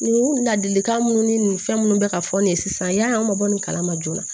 Nin ladilikan minnu ni fɛn minnu bɛ ka fɔ nin ye sisan yani an ma bɔ nin kalama joona